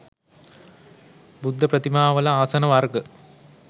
බුද්ධ ප්‍රතිමාවල ආසන වර්ග